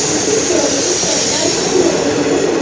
नीचे की ओर ईंट का टाइल्स भी लगे हुए हैं।